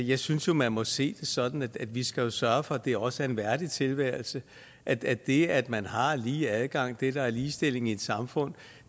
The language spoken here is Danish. jeg synes jo man må se det sådan at vi skal sørge for at det også er en værdig tilværelse at det det at man har lige adgang det der er ligestilling i et samfund